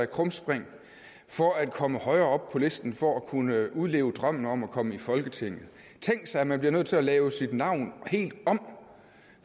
krumspring for at komme højere op på listen for at kunne udleve drømmen om at komme i folketinget tænk sig at man bliver nødt til at lave sit navn helt om